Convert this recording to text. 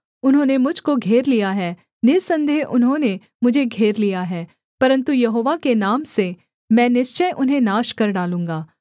उन्होंने मुझ को घेर लिया है निःसन्देह उन्होंने मुझे घेर लिया है परन्तु यहोवा के नाम से मैं निश्चय उन्हें नाश कर डालूँगा